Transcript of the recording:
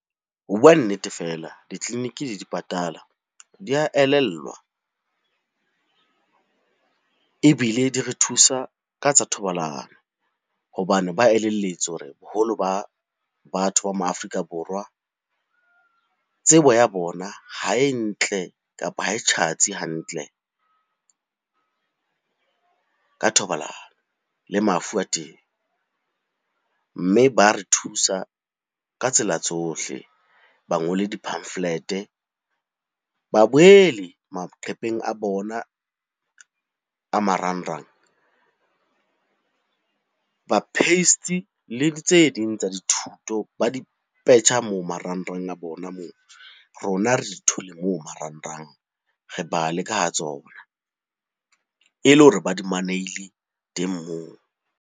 Ho bua nnete, fela ditleliniki di dipatala di a elellwa, ebile di re thusa ka tsa thobalano. Hobane ba elelletswe hore boholo ba batho ba ma Afrika Borwa tsebo ya bona ha e ntle, kapa ha e tjhatsi hantle ka thobalano le mafu a teng. Mme ba re thusa ka tsela tsohle. Ba ngole di-pamphlet-e, ba boele maqepheng a bona a marangrang. Ba paste le tse ding tsa dithuto, ba di petjha moo marangrang a bona moo rona re di thole moo marangrang re bale ka ha tsona. E le hore ba di manehile teng moo.